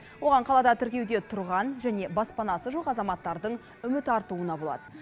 оған қалада тіркеуде тұрған және баспанасы жоқ азаматтардың үміт артуына болады